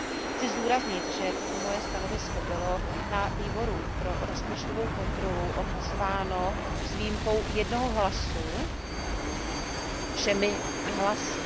Chci zdůraznit, že toto moje stanovisko bylo na Výboru pro rozpočtovou kontrolu odhlasováno s výjimkou jednoho hlasu všemi hlasy.